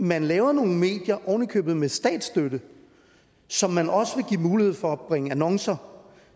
man laver nogle medier oven i købet med statsstøtte som man også vil give mulighed for at bringe annoncer og